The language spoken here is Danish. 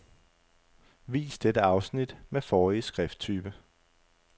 Vis dette afsnit med forrige skrifttype.